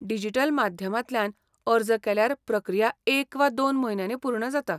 Digital माध्यमांतल्यान अर्ज केल्यार प्रक्रिया एक वा दोन म्हयन्यांनी पूर्ण जाता.